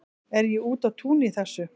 Er ég úti á túni í þessu?